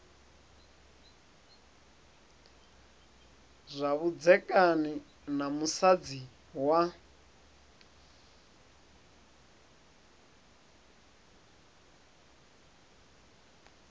zwa vhudzekani na musadzi wa